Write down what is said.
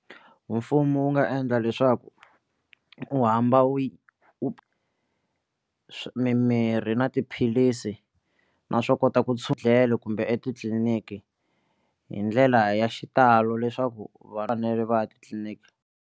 Mfumo wu nga endla leswaku u hamba u swi mimirhi na tiphilisi na swo kota ku kumbe etitliliniki hi ndlela ya xitalo leswaku va fanele va ya titliniki.